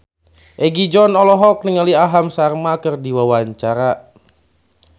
Egi John olohok ningali Aham Sharma keur diwawancara